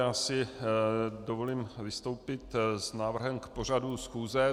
Já si dovolím vystoupit s návrhem k pořadu schůze.